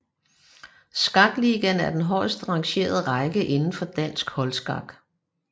Skakligaen er den højeste rangerende række indenfor dansk holdskak